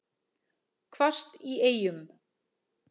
Hvasst í Eyjum